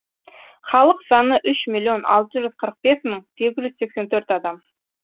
халық саны үш миллион алты жүз қырық бес мың сегіз жүз сексен төрт адам